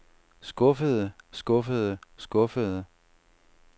skuffede skuffede skuffede